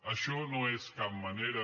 això no és cap manera